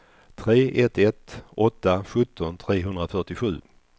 tre ett ett åtta sjutton trehundrafyrtiosju